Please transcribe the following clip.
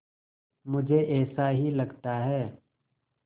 मुझे ऐसा ही लगता है